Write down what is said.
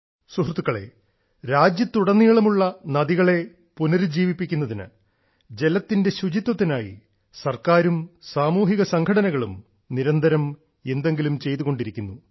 സുഹൃത്തുക്കളെ രാജ്യത്തുടനീളമുള്ള നദികളെ പുനരുജ്ജീവിപ്പിക്കുന്നതിന് ജലത്തിന്റെ ശുചിത്വത്തിനായി സർക്കാരും സാമൂഹിക സംഘടനകളും നിരന്തരം എന്തെങ്കിലും ചെയ്തുകൊണ്ടിരിക്കുന്നു